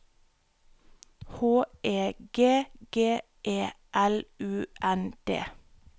H E G G E L U N D